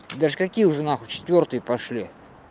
даже какие уже нахуй четвёртые пошли